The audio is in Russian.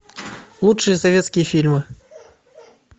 лучшие советские фильмы